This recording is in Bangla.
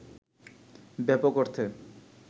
ব্যাপক অর্থে